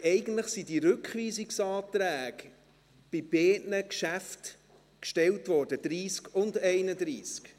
Eigentlich wurden diese Rückweisungsanträge bei beiden Traktanden gestellt, bei 30 und 31.